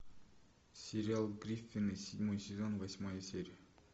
сериал гриффины седьмой сезон восьмая серия